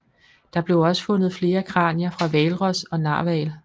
Der blev fundet flere kranier fra hvalros og narhval